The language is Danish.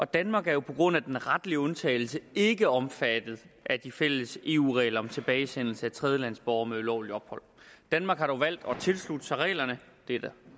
danmark er jo på grund af den retlige undtagelse ikke omfattet af de fælles eu regler om tilbagesendelse af tredjelandsborgere med ulovligt ophold danmark har dog valgt at tilslutte sig reglerne det er der